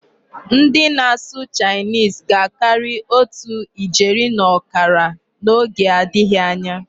Ndị na-asụ 'Chinese' ga-akarị otu ijeri na ọkara n'oge adịghị anya.